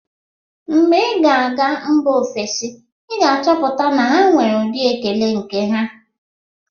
Mgbe ị ga-aga mba ofesi, ị ga-achọpụta na ha nwere ụdị ekele nke ha.